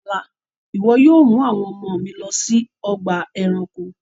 Ní ọ̀là, iwọ yóò mú àwọn ọ̀mọ mi lọ sí ọgba ẹ̀ránkò!